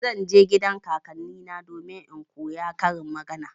Zan je gidan kakannina domin in koya karin magana.